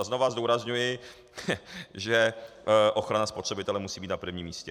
A znovu zdůrazňuji, že ochrana spotřebitele musí být na prvním místě.